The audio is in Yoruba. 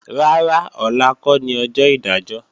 Rárá, ọ̀la kọ́ ni ọjọ́ ìdájọ́